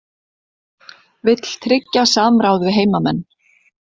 Vill tryggja samráð við heimamenn